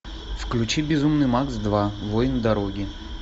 включи безумный макс два воин дороги